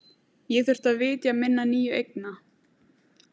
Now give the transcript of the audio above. Ég þurfti að vitja minna nýju eigna.